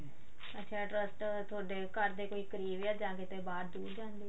ਅੱਛਾ trust ਥੋਡੇ ਘਰ ਦੇ ਕੋਈ ਕਰੀਬ ਆ ਜਾਂ ਕਿਤੇ ਬਾਹਰ ਜਾਂਦੇ ਓ